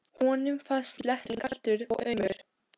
Honum fannst bletturinn kaldur og aumur.